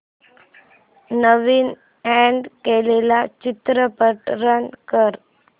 नवीन add केलेला चित्रपट run कर